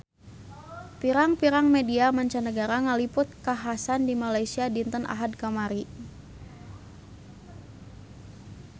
Pirang-pirang media mancanagara ngaliput kakhasan di Malaysia dinten Ahad kamari